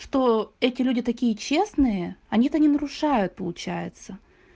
что эти люди такие честные они то не нарушают получается